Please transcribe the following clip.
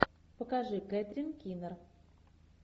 покажи кэтрин кинер